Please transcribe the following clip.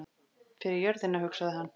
Fyrir jörðina, hugsaði hann.